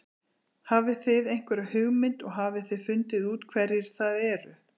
Hafið þið einhverja hugmynd og hafið þið fundið út hverjir það eru?